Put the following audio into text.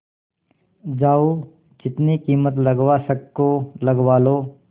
जाओ जितनी कीमत लगवा सको लगवा लो